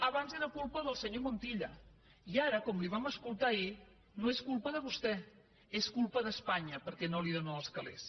abans era culpa del senyor montilla i ara com li ho vam escoltar ahir no és culpa de vostè és culpa d’espanya perquè no li donen els calés